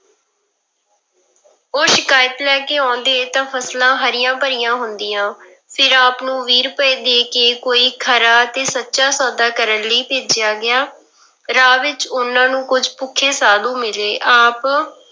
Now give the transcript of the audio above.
ਉਹ ਸ਼ਿਕਾਇਤ ਲੈ ਕੇ ਆਉਂਦੇ ਤਾਂ ਫਸਲਾਂ ਹਰੀਆਂ ਭਰੀਆਂ ਹੁੰਦੀਆਂ, ਫਿਰ ਆਪ ਨੂੰ ਵੀਹ ਰੁਪਏ ਦੇ ਕੇ ਕੋਈ ਖਰਾ ਤੇ ਸੱਚਾ ਸੌਦਾ ਕਰਨ ਲਈ ਭੇਜਿਆ ਗਿਆ, ਰਾਹ ਵਿੱਚ ਉਹਨਾਂ ਨੂੰ ਕੁੱਝ ਭੁੱਖੇ ਸਾਧੂ ਮਿਲੇ ਆਪ